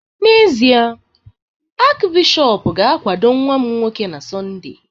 N’ezie, Achịbishọp ga-akwado nwa m nwoke na Sọnde